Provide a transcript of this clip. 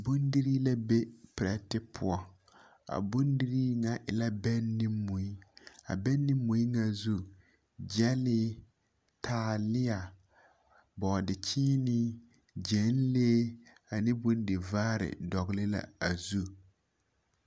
Bondirii la be perԑte poͻ, a bondirii ŋa e la bԑŋ ne mui. A bԑŋ ne mui ŋa zu, gyԑlee, taaleԑ, bͻͻde-kyeenee, gyԑnlee ane bondivaare dogele la a zu.